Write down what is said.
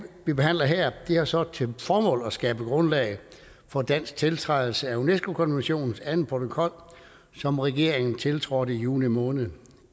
vi behandler her har så til formål at skabe grundlag for en dansk tiltrædelse af unesco konventionens anden protokol som regeringen tiltrådte i juni måned